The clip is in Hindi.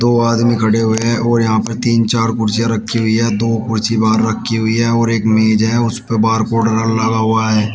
दो आदमी खड़े हुए हैं और यहां पे तीन चार कुर्सियां रखी हुई है दो कुर्सी बाहर रखी हुई है और एक मेज है उसपे बार कोड लगा हुआ है।